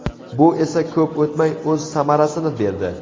Bu esa ko‘p o‘tmay o‘z samarasini berdi.